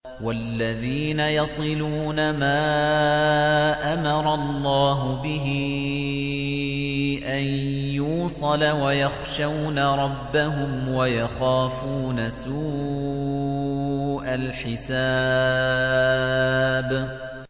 وَالَّذِينَ يَصِلُونَ مَا أَمَرَ اللَّهُ بِهِ أَن يُوصَلَ وَيَخْشَوْنَ رَبَّهُمْ وَيَخَافُونَ سُوءَ الْحِسَابِ